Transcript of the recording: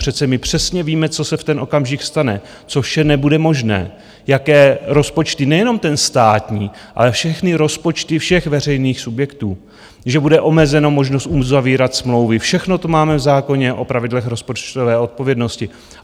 Přece my přesně víme, co se v ten okamžik stane, co vše nebude možné, jaké rozpočty, nejenom ten státní, ale všechny rozpočty všech veřejných subjektů, že bude omezena možnost uzavírat smlouvy, všechno to máme v zákoně o pravidlech rozpočtové odpovědnosti.